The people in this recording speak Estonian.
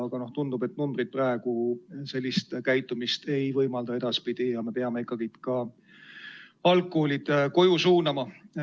Aga tundub, et numbrid seda edaspidi ei võimalda ja me peame ikkagi ka algkoolilapsed koju suunama.